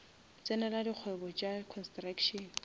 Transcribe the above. tsenela dikgwebo tša construction